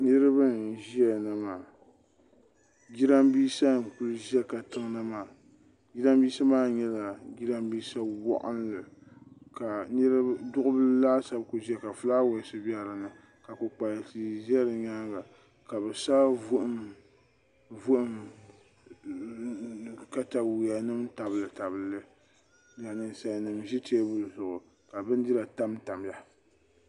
Niriba n ʒiya na maa jiranbiisa n kuli ʒɛ katiŋ na maa jiranbiisa maa nyɛla jiranbiisa waɣinli ka duɣi bila laasabu ku ʒɛya ka filaawaas bɛ din ni ka kpukpali tia za di nyaanga ka sa vuhim katayuya nim tabili tabili n nyɛ ninsali nim ʒi teebuli zuɣu ka bindira tam tam ya.